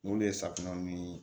N'olu ye safunɛ ni